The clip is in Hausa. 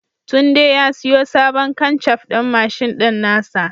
Tunde ya siyo sabon kanshaf ɗin mashin ɗin nasa